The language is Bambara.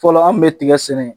Fɔlɔ an kun bɛ tigɛ sɛnɛ